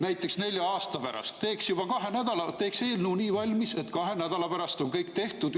Näiteks nelja aasta pärast teeks eelnõud nii valmis, et kahe nädala pärast on kõik tehtud.